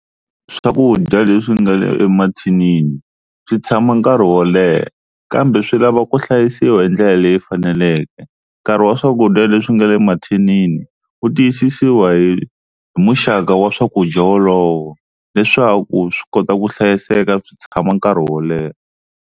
Swakudya leswi nga le emathinini swi tshama nkarhi wo leha kambe swi lava ku hlayisiwa hi ndlela leyi faneleke. Nkarhi wa swakudya leswi nga le mathinini u tiyisisiwa hi, hi muxaka wa swakudya wolowo leswaku swi kota ku hlayiseka swi tshama nkarhi wo leha.